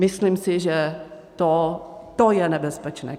Myslím si, že to je nebezpečné.